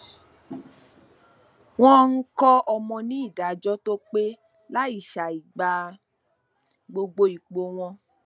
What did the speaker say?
wọn ń kọ ọmọ ní ìdájọ tó pé láì ṣàìgbà gbogbo ipò wọn